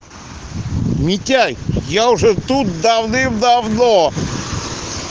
митяй я уже тут давным-давно